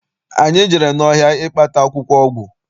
Anyị jere n'ọhịa ịkpata akwụkwọ ọgwụ.